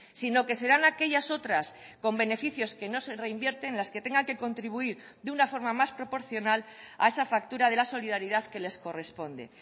sino que serán aquellas otras con beneficios que no se reinvierten las que tengan que contribuir de una forma más proporcional a esa factura de la solidaridad que les corresponde